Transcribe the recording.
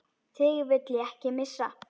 Þig vil ég ekki missa.